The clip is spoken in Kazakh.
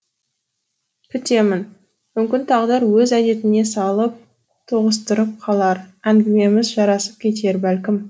күтемін мүмкін тағдыр өз әдетіне салып тоғыстырып қалар әңгімеміз жарасып кетер бәлкім